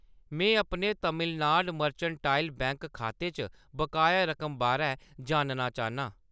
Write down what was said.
मैं अपने Tamil Nadu mercantile bank खाते च बकाया रकम बारै जानना चाह्‌न्नां।